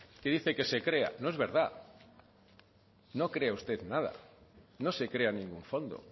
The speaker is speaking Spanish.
que dice que se crea no es verdad no crea usted nada no se crea ningún fondo